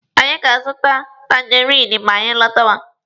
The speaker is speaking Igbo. Anyị ga-azụta tangerinụ ma anyị lọtawa.